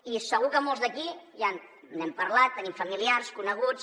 i segur que molts d’aquí ja n’hem parlat tenim familiars coneguts